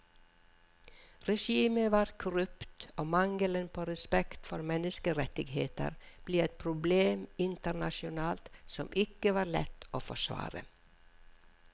Regimet var korrupt og mangelen på respekt for menneskerettigheter ble et problem internasjonalt som ikke var lett å forsvare.